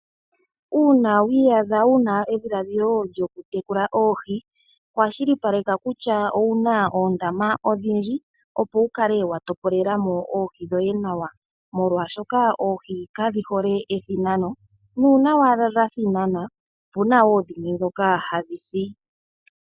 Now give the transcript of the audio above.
Uuna wii adha wuna edhiladhilo lyokutekula oohi, kwashilipaleka kutya owuna oondama odhi ndji opo wukale wa topolelamo oohi dhoye nawa moolwaashoka oihi kadhi hole ethinano. Uuna owala dha thinana opena woo dhimwe ndhoka ha dhi si.